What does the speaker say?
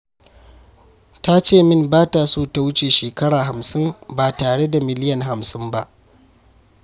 Ta ce min ba ta so ta wuce shekara 50 ba tare da miliyan 50 ba.